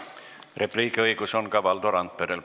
Repliigiõigus on ka Valdo Randperel.